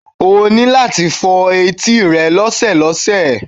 O ní láti máa fọ etí rẹ lọ́sọ̀ọ̀sẹ̀